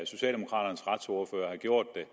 socialdemokraternes retsordfører har gjort det